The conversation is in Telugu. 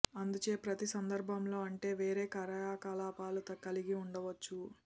అందుచే ప్రతి సందర్భంలో అంటే వేరే కార్యకలాపాలు కలిగి ఉండవచ్చు